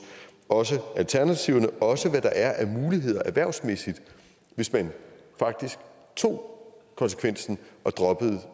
også alternativerne og også hvad der er af muligheder erhvervsmæssigt hvis man faktisk tog konsekvensen og droppede